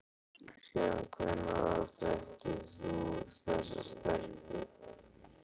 Síðan hvenær þekkir þú þessa stelpu?